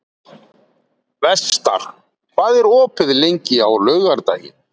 Vestar, hvað er opið lengi á laugardaginn?